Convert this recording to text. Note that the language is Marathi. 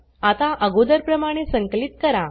आता अगोदरप्रमाणे संकलित करा